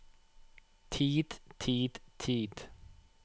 tid tid tid